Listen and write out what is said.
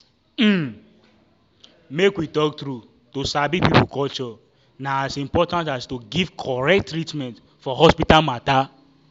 umm make we talk true to sabi people culture na as important as to give correct treatment for hospital matter.